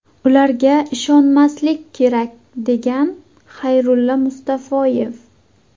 Ularga ishonmaslik kerak”, – degan Xayrulla Mustafoyev.